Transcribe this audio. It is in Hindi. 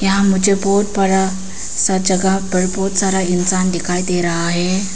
यहां मुझे बहुत बड़ा सा जगह पर बहुत सारा इंसान दिखाई दे रहा है।